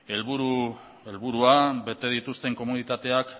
helburua bete dituzten komunitateak